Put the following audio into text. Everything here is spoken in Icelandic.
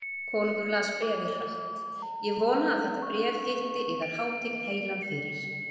Konungur las bréfið hratt: Ég vona að þetta bréf hitti yðar hátign heilan fyrir.